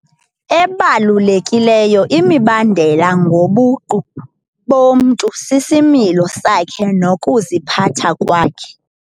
Ebalulekileyo imibandela ngobuqu bomntu sisimilo sakhe nokuziphatha kwakhe.